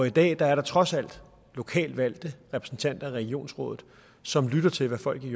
i dag er der jo trods alt lokalt valgte repræsentanter i regionsrådet som lytter til hvad folk i